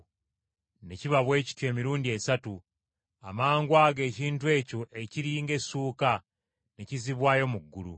Ne kiba bwe kityo emirundi esatu, amangwago ekintu ekyo ekiri ng’essuuka ne kizzibwayo mu ggulu.